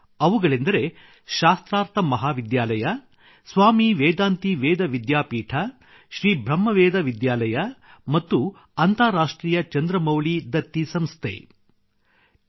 ಅವುಗಳೆಂದರೆ ಶಾಸ್ತ್ರಾರ್ಥ ಮಹಾವಿದ್ಯಾಲಯ ಸ್ವಾಮಿ ವೇದಾಂತಿ ವೇದ ವಿದ್ಯಾಪೀಠ ಶ್ರೀ ಬ್ರಹ್ಮವೇದ ವಿದ್ಯಾಲಯ ಮತ್ತು ಅಂತಾರಾಷ್ಟ್ರೀಯ ಚಂದ್ರಮೌಳಿ ದತ್ತಿ ಸಂಸ್ಥೆ ಮಹಾ ವಿದ್ಯಾಲಯಗಳಾಗಿವೆ